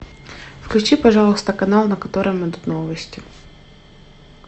включи пожалуйста канал на котором идут новости